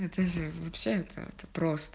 это все это вы писали просто